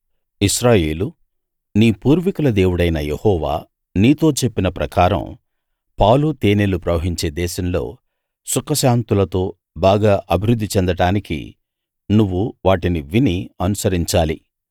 ఇశ్రాయేలూ నీ పూర్వీకుల దేవుడైన యెహోవా నీతో చెప్పిన ప్రకారం పాలు తేనెలు ప్రవహించే దేశంలో సుఖశాంతులతో బాగా అభివృద్ధి చెందడానికి నువ్వు వాటిని విని అనుసరించాలి